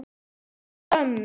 Til ömmu.